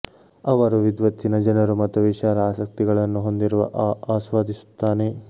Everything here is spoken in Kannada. ಅವರು ವಿದ್ವತ್ತಿನ ಜನರು ಮತ್ತು ವಿಶಾಲ ಆಸಕ್ತಿಗಳನ್ನು ಹೊಂದಿರುವ ಆ ಆಸ್ವಾದಿಸುತ್ತಾನೆ